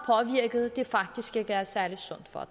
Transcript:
at det faktisk ikke er særlig sundt for